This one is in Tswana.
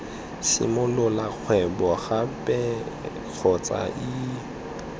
simolola kgwebo gape kgotsa ii